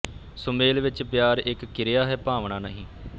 ਸੁਮੇਲ ਵਿਚ ਪਿਆਰ ਇਕ ਕਿਰਿਆ ਹੈ ਭਾਵਨਾ ਨਹੀਂ